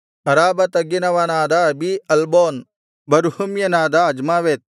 ಅರಾಬಾ ತಗ್ಗಿನವನಾದ ಅಬೀ ಅಲ್ಬೋನ್ ಬರ್ಹುಮ್ಯನಾದ ಅಜ್ಮಾವೇತ್